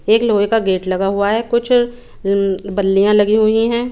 एक लोहे का गेट लगा हुआ है कुछ बल्लिय लगी हुई है।